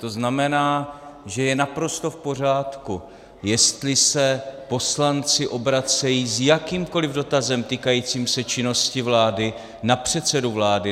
To znamená, že je naprosto v pořádku, jestli se poslanci obracejí s jakýmkoli dotazem týkajícím se činnosti vlády na předsedu vlády.